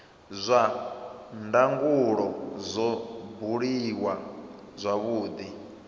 zwa ndangulo zwo buliwa zwavhudi